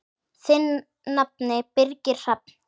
Þinn nafni, Birgir Hrafn.